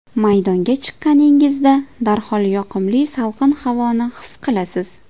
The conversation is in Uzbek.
Maydonga chiqqaningizda, darhol yoqimli salqin havoni his qilasiz.